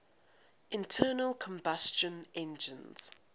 internal combustion engines